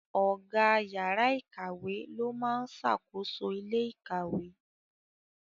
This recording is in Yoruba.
Ọ̀gá yàrá ikawe ló máa ń ṣàkóso ilé ikawe.